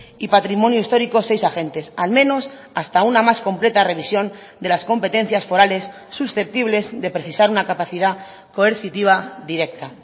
y patrimonio histórico seis agentes al menos hasta una más completa revisión de las competencias forales susceptibles de precisar una capacidad coercitiva directa